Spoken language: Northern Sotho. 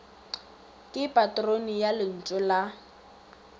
ke patrone ya lentšu la